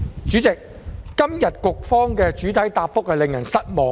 主席，局方今天的主體答覆令人失望。